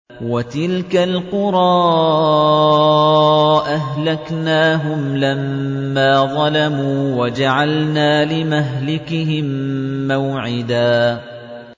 وَتِلْكَ الْقُرَىٰ أَهْلَكْنَاهُمْ لَمَّا ظَلَمُوا وَجَعَلْنَا لِمَهْلِكِهِم مَّوْعِدًا